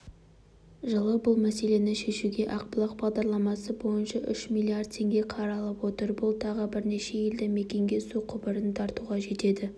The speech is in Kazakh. жылы бұл мәселені шешуге ақбұлақ бағдарламасы бойынша үш млрд теңге қаралып отыр бұл тағы бірнеше елді мекенге су құбырын тартуға жетеді